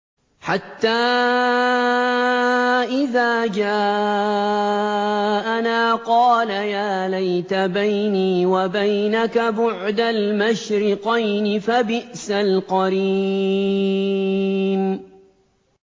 حَتَّىٰ إِذَا جَاءَنَا قَالَ يَا لَيْتَ بَيْنِي وَبَيْنَكَ بُعْدَ الْمَشْرِقَيْنِ فَبِئْسَ الْقَرِينُ